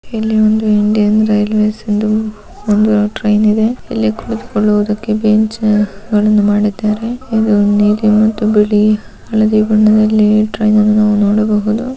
ಇಲ್ಲಿ ಒಂದು Indian railway ಎಂದು ಒಂದು ಟ್ರೈನ್ ಇದೆ ಇಲ್ಲಿ ಕುಳಿತುಕೊಳ್ಳುವುದಕ್ಕೆ ಬೆಂಚು ಗಳನ್ನು ಮಾಡಿದ್ದಾರೆ. ಇದು ನೀಲಿ ಮತ್ತು ಬಿಳಿ ಹಳದಿ ಬಣ್ಣದಲ್ಲಿ ಟ್ರೈನ ನ್ನು ನೋಡಬಹುದು.